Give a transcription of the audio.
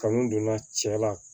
Kanu donna cɛ la